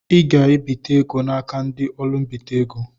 I ga ebite égo n'aka ndị ụlọ-mbite ego.